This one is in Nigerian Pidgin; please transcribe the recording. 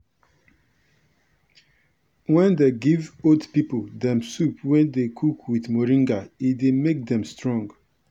wen dem give old pipo dem soup wey dem cook with moringa e dey make dem strong.